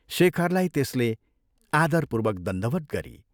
शेखरलाई त्यसले आदरपूर्वक दण्डवत् गरी।